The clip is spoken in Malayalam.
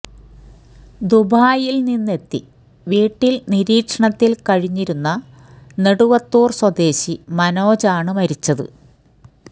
ദുബായില് നിന്നെത്തി വീട്ടില് നിരീക്ഷണത്തില് കഴിഞ്ഞിരുന്ന നെടുവത്തൂര് സ്വദേശി മനോജ് ആണ് മരിച്ചത്